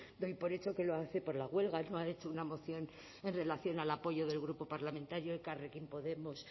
doy por hecho que lo hace por la huelga no ha hecho una moción en relación al apoyo del grupo parlamentario elkarrekin podemos